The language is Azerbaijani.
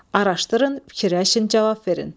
Araşdırın, fikirləşin, cavab verin.